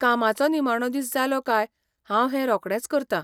कामाचो निमाणो दीस जालो काय हांव हें रोखडेंच करता.